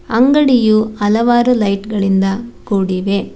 ಅಂಗಡಿಯು ಹಲವಾರು ಲೈಟ್ ಗಳಿಂದ ಕೂಡಿವೆ.